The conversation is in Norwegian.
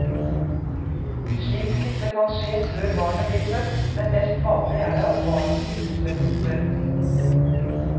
Slik smitte kan skje før barnet blir født, men mest vanlig er det at barnet smittes ved fødsel.